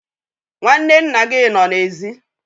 Nwanne nna gị nọ n'èzí